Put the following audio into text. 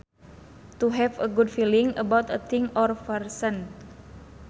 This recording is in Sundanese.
To have a good feeling about a thing or person